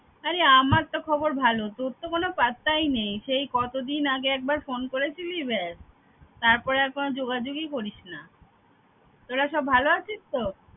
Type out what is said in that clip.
আরে আমার তো খবর ভালো তোর তো কোনো পাত্তাই নেই। সেই কত দিন আগে একবার phone করেছিলি ব্যস। তারপর আর কোনো যোগাযোগই করিস না । তোরা সবাই ভালো আছিস তো?